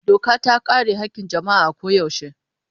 Doka ta kare haƙƙin jama'a a koyaushe.